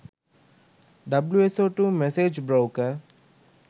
wso2 message broker